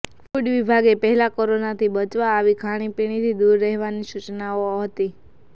food વિભાગે પહેલા કોરોનાથી બચવા આવી ખાણીપીણીથી દુર રહેવાની સૂચનાઓ હતી